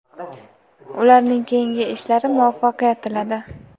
ularning keyingi ishlari muvaffaqiyat tiladi.